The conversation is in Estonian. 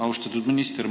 Austatud minister!